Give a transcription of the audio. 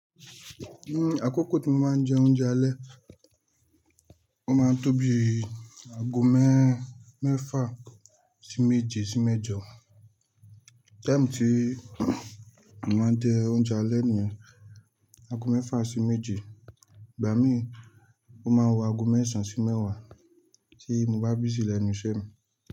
Àkókò tí mo máa ń jẹ oúnjẹ alẹ́, ó máa ń tóbi ago mẹ́fa sí méje sí mẹ́jọ. Time tí mo máa ń jẹ oúnjẹ alẹ́ ni yẹn ago mẹ́fà sí méje, ìgbà mí, ó máa wọ ago mẹ́sàn sí mẹ́wàá tí mo bá busy lẹnu ísẹ́ mi.